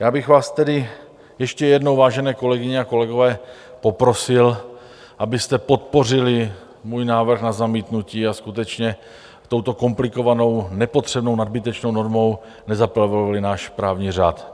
Já bych vás tedy ještě jednou, vážené kolegyně a kolegové, poprosil, abyste podpořili můj návrh na zamítnutí a skutečně touto komplikovanou, nepotřebnou, nadbytečnou normou nezaplevelovali náš právní řád.